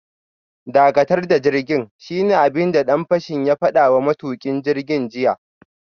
Dakatar da jirgin, shine abin da dan fashin ya fada wa matukin jirgin jiya